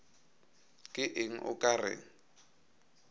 ke eng o ka re